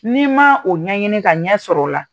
Ni'i ma o ɲɛɲini ka ɲɛ sɔrɔ o la